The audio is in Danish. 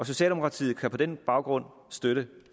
socialdemokratiet kan på den baggrund støtte